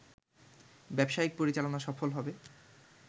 ব্যবসায়িক পরিচালনা সফল হবে